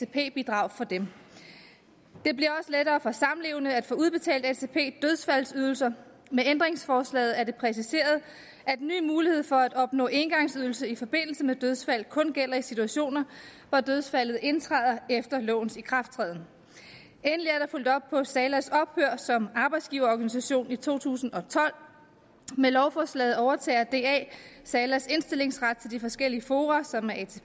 bidrag for dem det bliver også lettere for samlevende at få udbetalt atp dødsfaldsydelser med ændringsforslaget er det præciseret at den nye mulighed for at opnå engangsydelse i forbindelse med dødsfald kun gælder i situationer hvor dødsfaldet indtræder efter lovens ikrafttræden endelig er der fulgt op på salas ophør som arbejdsgiverorganisation i to tusind og tolv med lovforslaget overtager da salas indstillingsret til de forskellige fora som er